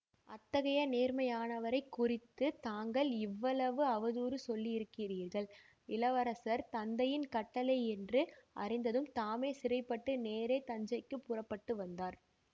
அத்தகைய நேர்மையானவரைக் குறித்து தாங்கள் இவ்வளவு அவதூறு சொல்லியிருக்கிறீர்கள் இளவரசர் தந்தையின் கட்டளை என்று அறிந்ததும் தாமே சிறைப்பட்டு நேரே தஞ்சைக்கு புறப்பட்டு வந்தார்